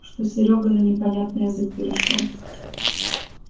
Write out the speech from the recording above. что серёга на непонятный язык перешёл